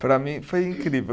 Para mim foi incrível.